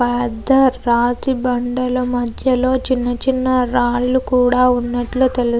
పేద్ద రాతి బండల మధ్య లో చిన్న చిన్న రాళ్లు కూడా ఉన్నట్టు తెలుస్తుంది.